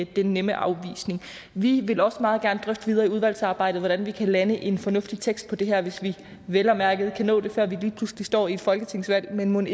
den nemme afvisning vi vil også meget gerne drøfte videre i udvalgsarbejdet hvordan vi kan lande en fornuftig tekst på det her hvis vi vel at mærke kan nå det før vi lige pludselig står i et folketingsvalg men mon